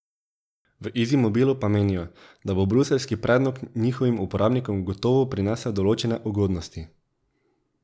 V Izimobilu pa menijo, da bo bruseljski predlog njihovim uporabnikom gotovo prinesel določene ugodnosti.